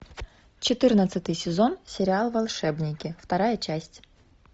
четырнадцатый сезон сериал волшебники вторая часть